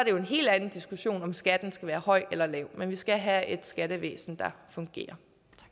jo en helt anden diskussion om skatten skal være høj eller lav men vi skal have et skattevæsen der fungerer